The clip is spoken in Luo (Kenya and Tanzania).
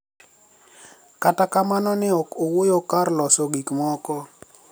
Kata kamano ni e ok owuoyo kar loso gik moko